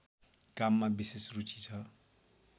काममा विशेष रुचि छ